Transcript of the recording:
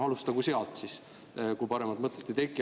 Alustagu sealt siis, kui paremat mõtet ei teki.